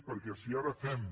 perquè si ara fem